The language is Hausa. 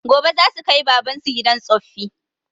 Gobe zasu kai baban su gidan tsoffi